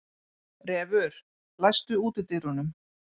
Refur, læstu útidyrunum.